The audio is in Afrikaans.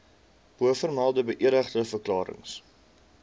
bovermelde beëdigde verklarings